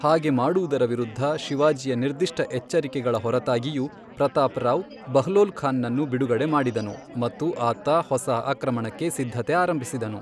ಹಾಗೆ ಮಾಡುವುದರ ವಿರುದ್ಧ ಶಿವಾಜಿಯ ನಿರ್ದಿಷ್ಟ ಎಚ್ಚರಿಕೆಗಳ ಹೊರತಾಗಿಯೂ, ಪ್ರತಾಪ್ ರಾವ್, ಬಹ್ಲೋಲ್ ಖಾನ್ ನನ್ನು ಬಿಡುಗಡೆ ಮಾಡಿದನು ಮತ್ತು ಆತ ಹೊಸ ಆಕ್ರಮಣಕ್ಕೆ ಸಿದ್ಧತೆ ಆರಂಭಿಸಿದನು.